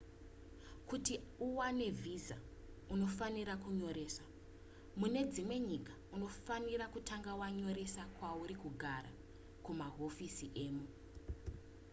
kuti uwane visa unofanira kunyoresa mune dzimwe nyika unofanira kutanga wanyoresa kwauri kugara kumahofisi emo